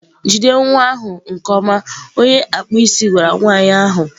Jide nwa ahụ! nke ọma onye akpụ isi gwara nwanyị ahụ.